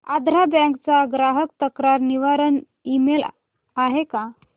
Andhra bank चा ग्राहक तक्रार निवारण ईमेल आहे का